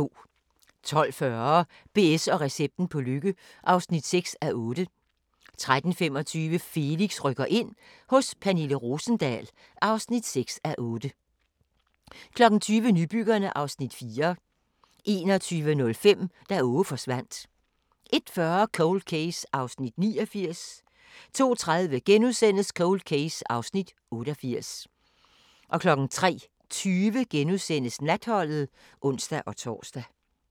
12:40: BS & recepten på lykke (6:8) 13:25: Felix rykker ind – hos Pernille Rosendahl (6:8) 20:00: Nybyggerne (Afs. 4) 21:05: Da Aage forsvandt 01:40: Cold Case (89:156) 02:30: Cold Case (88:156)* 03:20: Natholdet *(ons-tor)